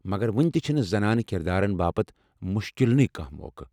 مگر وُنتہِ چھنہٕ زنانہٕ كِردارن باپت مُشكِلنٕے كانہہ موقع ۔